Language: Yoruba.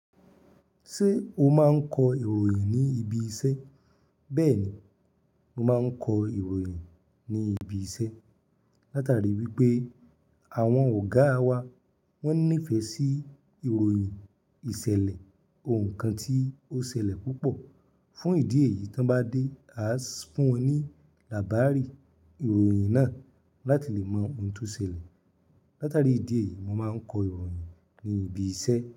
Ṣé o máa ń kọ ìròyìn ní ibi iṣẹ́? Bẹ́ẹ̀ni, mo máa ń kọ ìròyìn ní ibi iṣẹ́. Látàrí wípé àwọn ọ̀gáa wa wón nífẹ̀ẹ́ sí ìròyìn ìṣẹ̀lẹ̀, ohun kan tí ó ṣẹlẹ̀ púpọ̀. Fún ìdí èyí tí wọ́n bá dé, a sì fún wọn ní làbárì ìròyìn náà láti lè mọ ohun tí ó ṣẹlẹ̀. Látàrí ìdí èyí, mo máa ń kọ ìròyìn ní ibi iṣẹ́.